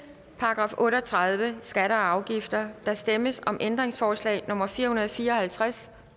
§ otte og tredive skatter og afgifter der stemmes om ændringsforslag nummer fire hundrede og fire og halvtreds